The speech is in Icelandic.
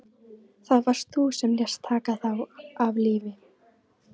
Það varst þú sem lést taka þá af lífi.